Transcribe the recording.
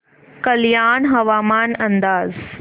कल्याण हवामान अंदाज